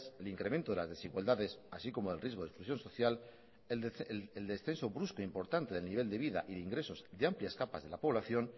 el incremento de las desigualdades así como el riesgo de exclusión social el descenso brusco e importante del nivel de vida y de ingresos de amplias capas de la población